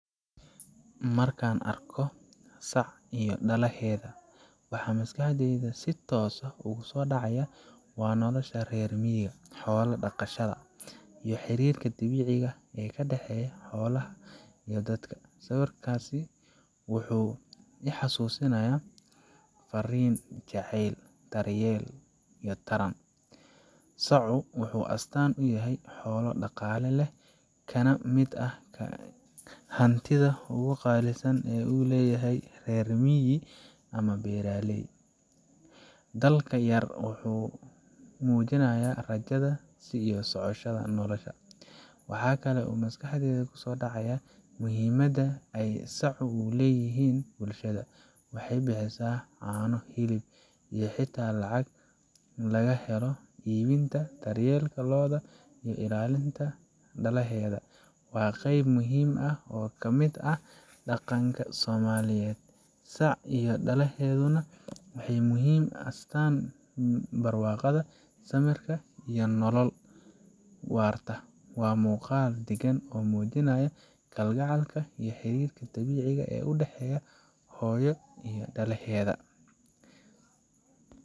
Markan arko sac iyo dalahedha waxaa maskaxdeyda sitos ah ogu so dacaya waa nolosha rer miiga, xola daqashaada iyo xirirka dabiciga ee kadaxeya xolaha iyo dadka, sawirkasi wuxuu ixasusinaya farin jacel daryel iyo tarac, saaca wuxuu astan uyahay xola daqala leh kana miid ah hantiidhaa ogu qalsan u leyahay rer miggaa ama beeraley, dalka yar wuxuu mujinaya rajadha iyo socoshaadha, waxaa kalo maskaxdeyda kuso dacaya muhiimaada ee saacu u leyihin bulshaada, wexee bixisa cano hilib iyo hata lacag laga helo ibinta loodha daryelka iyo ilalinta dalahedha waa qeyb muhiim ah oo kamiid ah daqanka somaliyeed, saac iyo dalahedhuna wexee muhiim u asxtan samirka dulqaadka iyo nolol wartaa, waa muqaal daqan oo mujinaya kal gacalka iyo xarirka dabiciga ee u daxeyo hooyo iyo dalahedha.